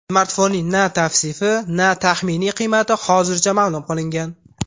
Smartfonning na tavsifi, na taxminiy qiymati hozircha ma’lum qilingan.